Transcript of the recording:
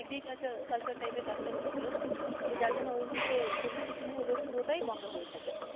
Agriculture type এর কাজটা করছিল তো যার জন্য পুরোটাই বন্ধ করে থাকে